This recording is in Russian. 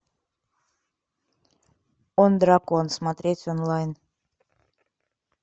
он дракон смотреть онлайн